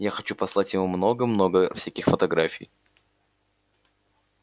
я хочу послать ему много-много всяких фотографий